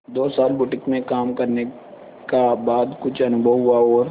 दो साल बुटीक में काम करने का बाद कुछ अनुभव हुआ और